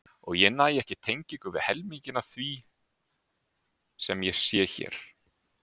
Og ég næ ekki tengingu við helminginn af því sem ég sé hér.